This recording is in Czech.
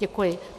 Děkuji.